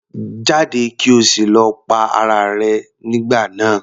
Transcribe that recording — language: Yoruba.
Jáde! kí o sì lọ pa ara rẹ nígbà náà.